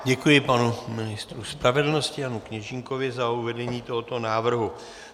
Děkuji panu ministru spravedlnosti Janu Kněžínkovi za uvedení tohoto návrhu.